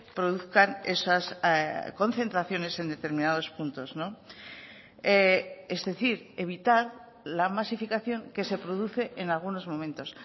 produzcan esas concentraciones en determinados puntos es decir evitar la masificación que se produce en algunos momentos